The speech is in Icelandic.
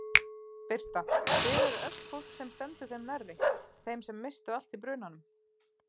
Birta: Þið eruð öll fólk sem stendur þeim nærri, þeim sem misstu allt í brunanum?